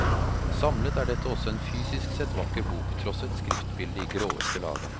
Samlet er dette også en fysisk sett vakker bok, tross et skriftbilde i gråeste laget.